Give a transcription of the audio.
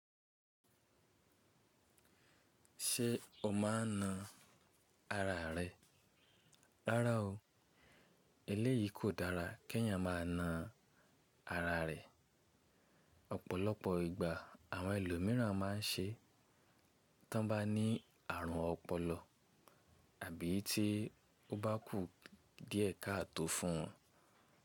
Ṣé o ma na ara rẹ? Rárá o, eléyìí kò dára kí ẹ̀yàn má a na ara rẹ̀. Ọ̀pọ̀lọpọ̀ ìgbà àwọn ẹlòmíràn ma ń ṣe tán bá ní àrùn ọpọlọ àbí tí ó bá kú díẹ̀ káàtò fún un.